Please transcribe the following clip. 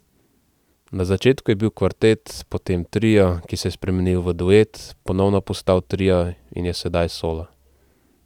Na začetku je bil kvartet, potem trio, ki se je spremenil v duet, ponovno postal trio in je sedaj solo.